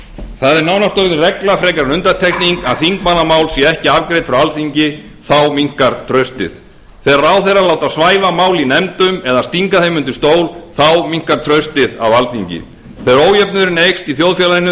það er nánast orðin regla frekar en undantekning að þingmannamál séu ekki afgreidd frá alþingi þá minnkar traustið þegar ráðherrar láta svæfa mál í nefndum eða stinga þeim undir stól minnkar traustið á alþingi þegar ójöfnuðurinn eykst í þjóðfélaginu